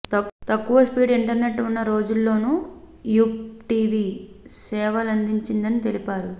తక్కువ speed internet ఉన్న రోజుల్లోను యుప్ టీవీ సేవలందించిందని తెలిపారు